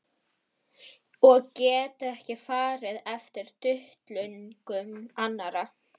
Og get ekki farið eftir duttlungum annarra.